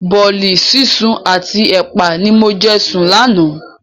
Bọ̀ọ̀li sísun àti ẹpa ni mo jẹ sùn lánàá.